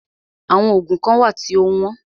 Àwọn oògùn kán wà tí o wọ́n.